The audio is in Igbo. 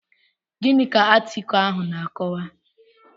Gịnị ka atịkulụ ahụ na-akọwa?